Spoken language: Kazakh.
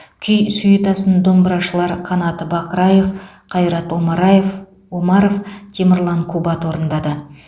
күй сюитасын домбырашылар қанат бақраев қайрат омараев омаров темірлан кубат орындады